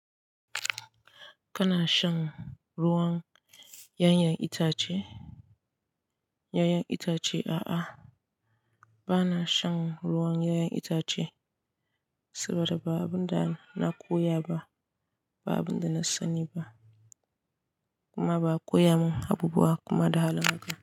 Kana shan ruwan ƴaƴan itace? Ƴaƴan itace a'a, ba na shan ruwan ƴaƴan itace saboda ba abun da na koya ba, ba abun da na sani ba kuma ba a koya mun abubuwa kuma da hala haka.